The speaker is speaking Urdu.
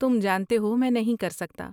تم جانتے ہو میں نہیں کر سکتا۔